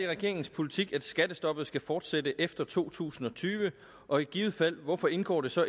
regeringens politik at skattestoppet skal fortsætte efter to tusind og tyve og i givet fald hvorfor indgår det så